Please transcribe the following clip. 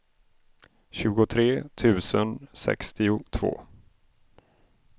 tjugotre tusen sextiotvå